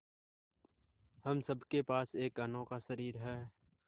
हम सब के पास एक अनोखा शरीर है